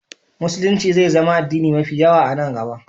Musulunci zai zama addini mafi yawa a nan gaba.